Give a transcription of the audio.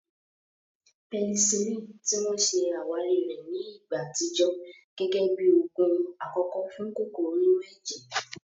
Pẹsilínìì, ti wọ́n ṣe àwárí rẹ̀ ní ìgbà àtijọ́, gẹ́gẹ́ bí oògùn àkọ́kọ́ fún kòkòrò inú ẹ̀jẹ̀